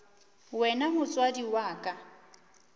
wena o motswadi wa ka